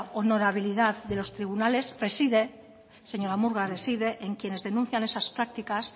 honorabilidad de los tribunales reside señora murga reside en quienes denuncian esas prácticas